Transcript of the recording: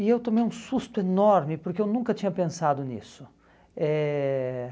E eu tomei um susto enorme, porque eu nunca tinha pensado nisso. Eh